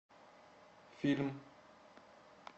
фильм